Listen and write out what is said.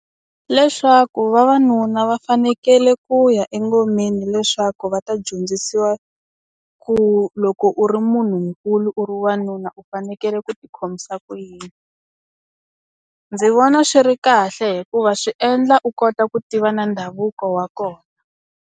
Leswaku vavanuna va fanekele ku ya engomeni leswaku va ta dyondzisiwa ku loko u ri munhunkulu u ri wanunu u fanekele ku ti khomisa ku yini ndzi vona swi ri kahle hikuva swi endla u kota ku tiva na ndhavuko wa kona.